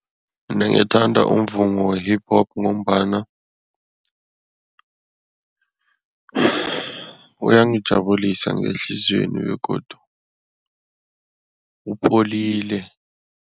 Mina ngithanda umvumo we-Hip-Hop ngombana uyangijabulisa ngehliziyweni begodu upholile.